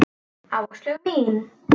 Áslaug mín!